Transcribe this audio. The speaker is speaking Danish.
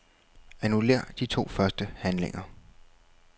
Annullér de to første handlinger.